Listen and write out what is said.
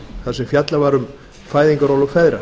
þar sem fjallað var um fæðingarorlof feðra